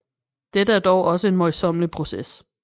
Dette er dog også en møjsommelig proces